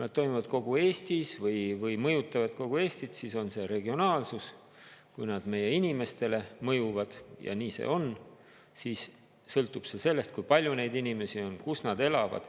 Nad toimuvad kogu Eestis või mõjutavad kogu Eestit, siis on see regionaalsus, kui nad meie inimestele mõjuvad ja nii see on, siis sõltub see sellest, kui palju neid inimesi on, kus nad elavad.